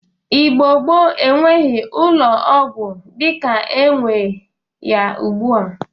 Igbo gboo enweghi ụlọ ọgwọ dịka enwe ya ugbụa.